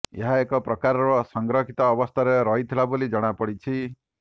ଏହା ଏକ ପ୍ରକାରର ସଂରକ୍ଷିତ ଅବସ୍ଥାରେ ରହିଥିଲା ବୋଲି ଜଣାପଡିଛି